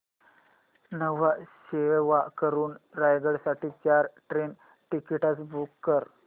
न्हावा शेवा वरून रायगड साठी चार ट्रेन टिकीट्स बुक कर